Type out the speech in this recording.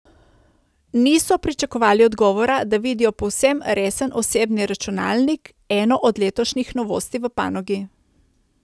Niso pričakovali odgovora, da vidijo povsem resen osebni računalnik, eno od letošnjih novosti v panogi.